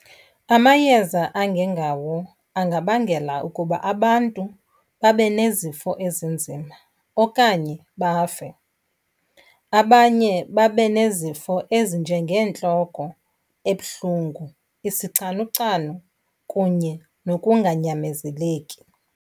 Amayeza angengawo angabangela ukuba abantu babe nezifo ezinzima okanye bafe. Abanye babe nezifo ezinjengentloko ebuhlungu, isicanucanu kunye nokunganyamezeleki.